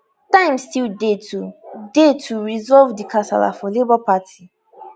time still dey to dey to resolve di kasala for labour party